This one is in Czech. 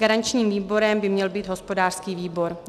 Garančním výborem by měl být hospodářský výbor.